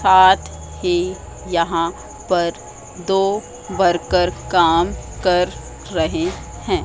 साथ ही यहां पर दो वर्कर काम कर रहे हैं।